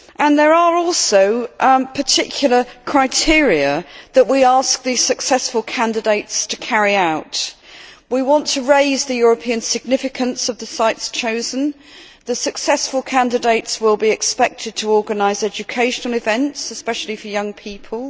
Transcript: There are also particular criteria that we ask the successful candidates to meet we want to raise the European significance of the sites chosen the successful candidates will be expected to organise education events, especially for young people